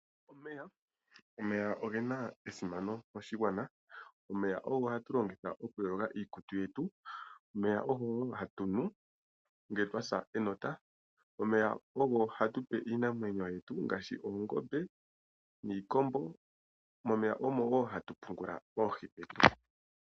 Omeya ogena esimano moshigwana. Omeya ogo hatu longitha okuyoga iikutu yetu. Omeya ogo hatunu ngele twa sa enota. Omeyaogo hatupe iinamwenyo yetu ngaashi oongombe niikombo. Momeya omo hatu pungula oohi dhetu.